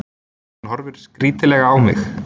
Hún horfir skrítilega á mig.